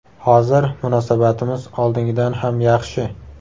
Hozir munosabatimiz oldingidan ham yaxshi.